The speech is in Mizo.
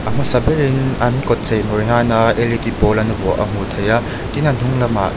a hmasa berin an kawt chei mawi nana l e d pawl an vuah a hmuh theih a tin a hnung lamah in--